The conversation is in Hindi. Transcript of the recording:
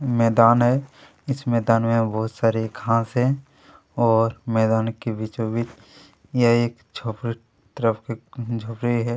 मैदान है इस मैदान बहुत सारे घाँस है और मैदान के बीचों-बीच यह एक झोंपड़ा तरफ के झोपड़ी हैं।